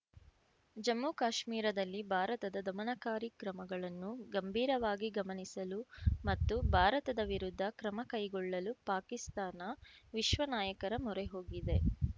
ಜಮ್ಮು ಕಾಶ್ಮೀರದಲ್ಲಿ ಭಾರತದ ಧಮನಕಾರಿ ಕ್ರಮಗಳನ್ನು ಗಂಭೀರವಾಗಿ ಗಮನಿಸಲು ಮತ್ತು ಭಾರತದ ವಿರುದ್ಧ ಕ್ರಮ ಕೈಗೊಳ್ಳಲು ಪಾಕಿಸ್ತಾನ ವಿಶ್ವ ನಾಯಕರ ಮೊರೆ ಹೋಗಿದೆ